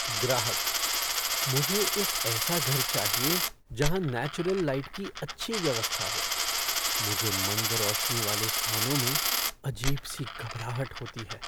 ग्राहकः "मुझे एक ऐसा घर चाहिए जहाँ नेचुरल लाइट की अच्छी व्यवस्था हो, मुझे मंद रोशनी वाले स्थानों में अजीब सी घबराहट होती है।"